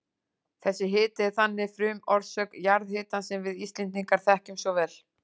Þessi hiti er þannig frumorsök jarðhitans sem við Íslendingar þekkjum svo vel.